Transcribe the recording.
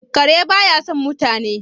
kare ba ya son mutane